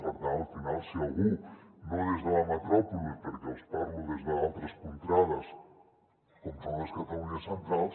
per tant al final si algú no des de la metròpoli perquè els parlo des d’altres contrades com és la catalunya central